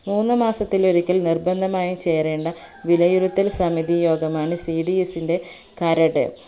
മൂന്ന് മാസത്തിലൊരിക്കൽ നിർബന്ധമായും ചേരേണ്ട വിലയിരുത്തൽ സമിതി യോഗമാണ് cds ന്റെ കരട്